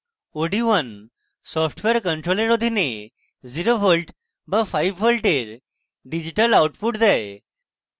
od1 software control অধীনে 0v বা 5v এর digital output দেয়